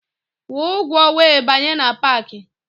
Kwụọ ụgwọ wee banye na paakị!